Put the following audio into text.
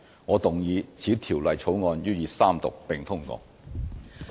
我動議此條例草案予以三讀並通過。